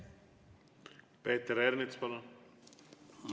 Peeter Ernits, palun!